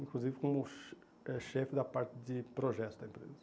Inclusive como che eh chefe da parte de projeto da empresa.